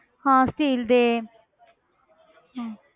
ਹਾਂ steel ਦੇ ਹਮ